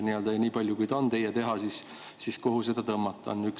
Ja nii palju, kui see on teie teha, siis kuhu seda tõmmata?